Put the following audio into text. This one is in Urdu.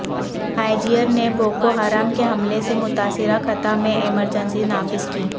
نائجیر نے بوکوحرام کے حملہ سے متاثرہ خطہ میں ایمرجنسی نافذ کی